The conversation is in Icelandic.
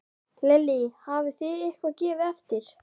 Lillý: Hafið þið eitthvað gefið eftir?